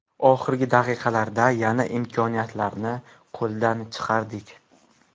Oxirgi daqiqalarda yana imkoniyatlarni qo‘ldan chiqardik.